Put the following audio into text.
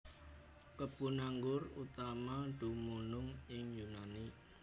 Kebun anggur utama dumunung ing Yunani